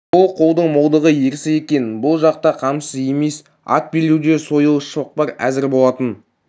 бұл қолдың молдығы ерсі екен бұл жақ та қамсыз емес ат белдеуде сойыл шоқпар әзір болатын